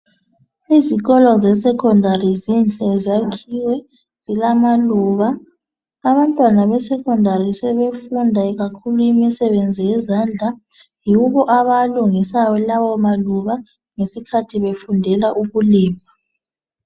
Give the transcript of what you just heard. Izikolo zesekhondari zinhle ziyakhiwe zilamaluba abantwana besekhondari sebefunda ikakhulu imisebenzi yezandla yibo abawalungisayo lawo maluba ngesikhathi befundela ukulima.